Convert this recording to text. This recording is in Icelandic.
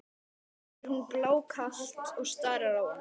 spyr hún blákalt og starir á hann.